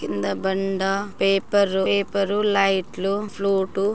కింద బండ paper paper లైట్లు ఫ్లూటు --